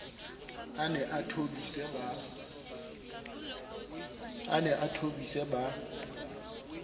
a ne a thobise ba